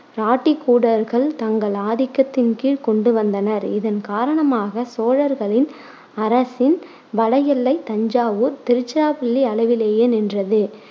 இராட்டிக்கூடர்கள் தங்கள் ஆதிக்கத்தின் கீழ் கொண்டுவந்தனர். இதன் காரணமாக சோழர்களின் அரசின் வட எல்லை தஞ்சாவூர், திருச்சிராப்பள்ளி அளவிலேயே நின்றது.